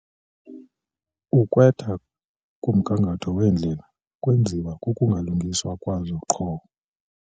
Ukwetha komgangatho weendlela kwenziwa kukungalungiswa kwazo qho.